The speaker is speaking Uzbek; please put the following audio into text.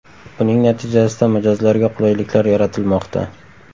Buning natijasida mijozlarga qulayliklar yaratilmoqda.